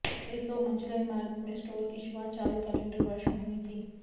इस दो मंजिला इमारत में स्टोर की शुरुआत चालू कैलेंडर वर्ष में होनी थी